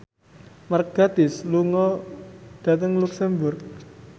Mark Gatiss lunga dhateng luxemburg